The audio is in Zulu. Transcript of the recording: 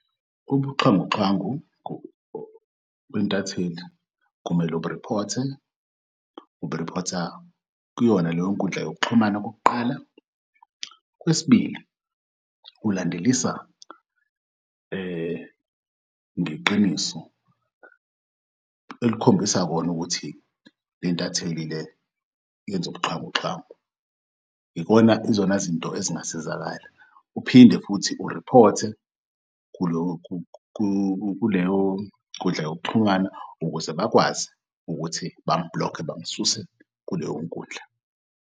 Ubuxhwanguxhwangu bentatheli umele uburiphothe, uburiphotha kuyona leyo nkundla yokuxhumana okokuqala. Okwesibili, ukulandelisa ngeqiniso elikhombisa kona ukuthi lentatheli le yenz'ubuxhwanguxhwangu izona zinto ezingasizakala. Uphinde futhi uriphothe kuleyo nkundla yokuxhumana ukuze bakwazi ukuthi bam-block-e bamsuse kuleyo nkundla.